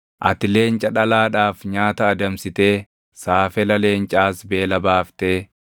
“Ati leenca dhalaadhaaf nyaata adamsitee saafela leencaas beela baaftee